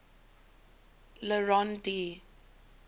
le rond d